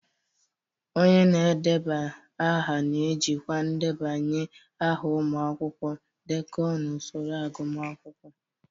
Onye na-edeba aha na-ejikwa ndebanye aha ụmụ akwụkwọ, ndekọ, na usoro agụmakwụkwọ.